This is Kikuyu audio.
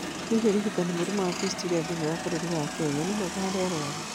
Hihi ũrigitani wa mũrimũ wa fistula bũrũri-inĩ wa Kenya nĩ mwega harĩ arwaru?